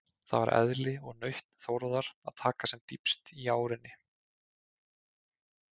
Það var eðli og nautn Þórðar að taka sem dýpst í árinni.